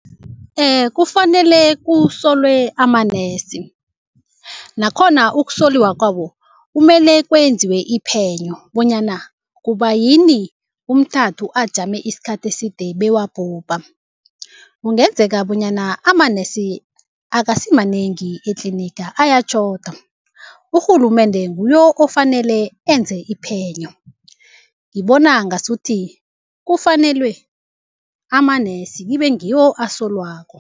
Kufanele kusolwe amanesi, nakhona ukusoliwa kwabo kumele kwenziwe iphenyo bonyana kubayini umntanthu ajame isikhathi eside bewabhubha. Kungenzeka bonyana amanesi akasimanengi etliniga ayatjhoda, urhulumende nguye ofanele enze iphenyo. Ngibona ngasuthi kufanelwe amanesi kibe ngiwo asolwako.